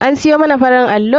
An siyo man farin allo.